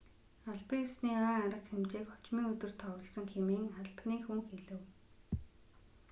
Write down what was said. албан ёсны ойн арга хэмжээг хожмын өдөр товлосон хэмээн албаны хүн хэлэв